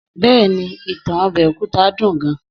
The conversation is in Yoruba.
Bẹ́ẹ̀ni, ìtàn ọbẹ̀ òkúta dùn gan